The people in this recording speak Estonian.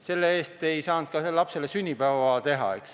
Selle eest ei saanud lapsele ka sünnipäeva teha.